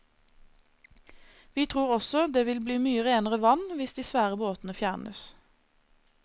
Vi tror også det vil bli mye renere vann hvis de svære båtene fjernes.